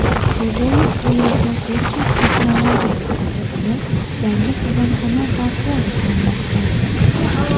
Shu bois bu yerda Turkiya texnologiyasi asosida yangi qozonxona barpo etilmoqda.